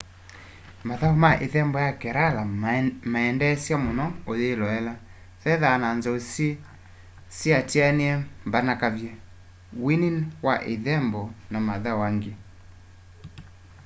mathau ma ithembo ya kerala mendeesya muno uyiloela vethwaa na nzou syiatianie mbanakavye wini wa ithembo na mathau angi